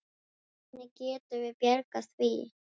Hvernig getum við bjargað því?